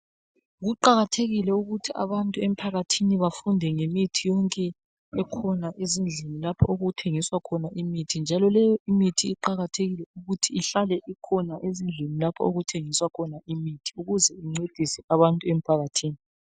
Kuqakathekile ukuthi abantu emphakathini bafunde ngemithi yonke esezindlini okuthengiswa khona imithi njalo kuqakathekile ukuthi ihlale ikhona ukwenzela ukuthi incedise abantu.